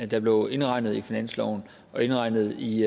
der blev indregnet i finansloven og indregnet i